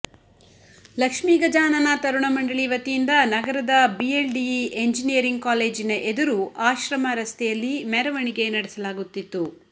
ಲಕ್ಷ್ಮೀ ಗಜಾನನ ತರುಣ ಮಂಡಳಿ ವತಿಯಿಂದ ನಗರದ BLDE engineering ಕಾಲೇಜಿನ ಎದುರು ಆಶ್ರಮ ರಸ್ತೆಯಲ್ಲಿ ಮೆರವಣಿಗೆ ನಡೆಸಲಾಗುತ್ತಿತ್ತು